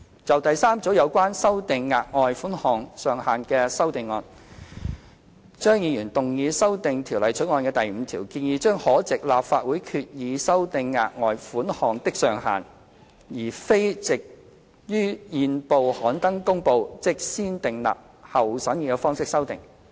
就第三組有關修訂額外款項上限的修正案，張議員動議修訂《條例草案》第5條，建議將可藉立法會決議修訂額外款項的上限，而非藉於憲報刊登公告，即"先訂立後審議"方式修訂。